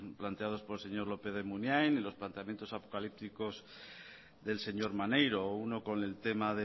planteados por el señor lópez de munain y los planteamiento apocalípticos del señor maneiro uno con el tema